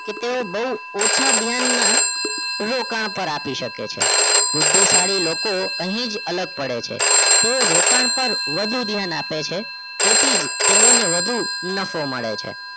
કે તેને બહુ ઓછા ધ્યાનમાં રોકાણ પણ આપી શકે છે બુદ્ધિશાળી લોકો અહીં જ અલગ પડે છે તેઓ રોકાણ પર વધુ ધ્યાન આપે છે તેથી તેઓને વધુ નફો મળે છે